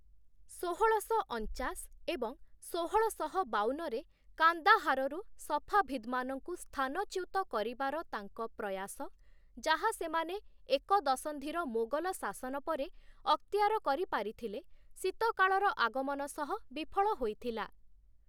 ଷୋହଳଶ ଅଣଚାଶ ଏବଂ ଷୋହଳଶହ ବାଉନରେ କାନ୍ଦାହାରରୁ ସଫାଭିଦ୍ମାନଙ୍କୁ ସ୍ଥାନଚ୍ୟୁତ କରିବାର ତାଙ୍କ ପ୍ରୟାସ, ଯାହା ସେମାନେ ଏକ ଦଶନ୍ଧିର ମୋଗଲ ଶାସନ ପରେ ଅକ୍ତିଆର କରିପାରିଥିଲେ, ଶୀତକାଳର ଆଗମନ ସହ ବିଫଳ ହୋଇଥିଲା ।